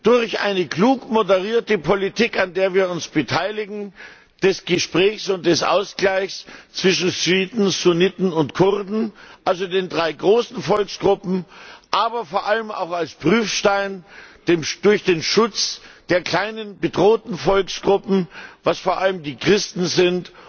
durch eine klug moderierte Politik, an der wir uns beteiligen, eine Politik des Gesprächs und des Ausgleichs zwischen Schiiten, Sunniten und Kurden, also den drei großen Volksgruppen, aber vor allem auch als Prüfstein durch den Schutz der kleinen, bedrohten Volksgruppen, was vor allem die Christen